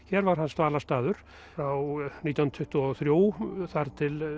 hér var hans dvalarstaður frá nítján hundruð tuttugu og þrjú þar til